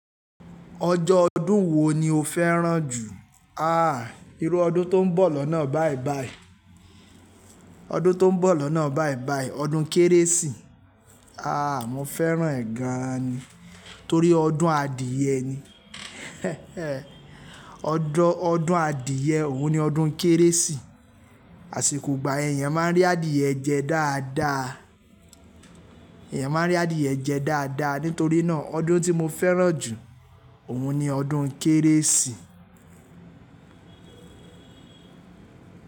Ọjọ́ ọdún wo ni o fẹ́ràn jù? A, irú ọdún tó ń bọ̀ lọ́nà báìbàì, ọdún tó ń bọ̀ lọ́nà báìbàì, ọdún Kérésì. A, mo fẹ́ràn ẹ̀ gan ni. Torí ọdún adìẹ ni, ọdọ ọdún adìẹ òun ni ọdún Kérésì. Àsìkò ìgbà yẹn, eyan máa ń rí adìẹ jẹ dáadáa, eyan máa ń rí adìẹ jẹ dáadáa. Nítorí náà ọdún tí mo fẹ́ràn jù, òun ni ọdún Kérésì.